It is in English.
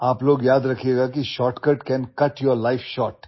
You guys remember that shortcut can cut your life short